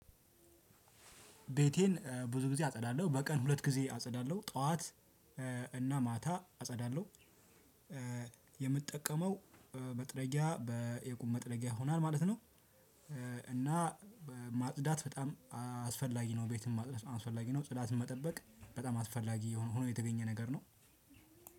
ቤቴን ብዙ ጊዜ አጸዳለሁ። በቀን ሁለት ጊዜ አጸዳለሁ ጠዋት እና ማታ አጸዳለሁ። የምጠቀመው መጥረጊያ በትልቁ መጥረጊያ ይሆናል ማለት ነው። እና ማጽዳት በጣም አስፈላጊ ነው ቤትም አስፈላጊ ነው ጽዳትም መጠበቅ በጣም አስፈላጊ ሆኖ የተገኘ ነገር ነው